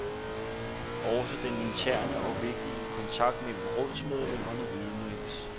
Også den interne og vigtige kontakt mellem rådsmedlemmerne ødelægges.